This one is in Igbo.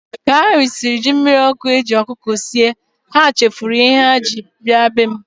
Ka ha risiri jí mmiri okụ e jì ọkụkọ sie, ha chefuru ihe ha jì maka ya bịa be m.